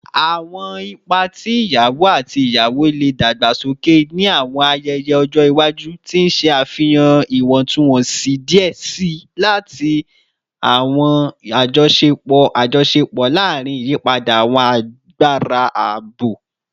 Awọn ipa ti iyawo ati iyawo le dagbasoke ni awọn ayẹyẹ ọjọ iwaju, ti n ṣe afihan iwọntunwọnsi diẹ sii ati awọn ajọṣepọ ajọṣepọ larin iyipada awọn agbara abo.